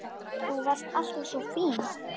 Þú varst alltaf svo fín.